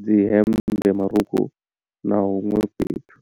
dzi hemmbe marukhu na huṅwe fhethu.